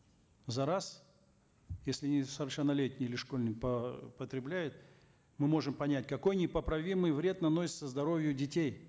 за раз если несовершеннолетний или школьник потребляет мы можем понять какой непоправимый вред наносится здоровью детей